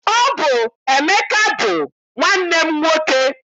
Ọ bụ Emeka bụ nwanne m nwoke.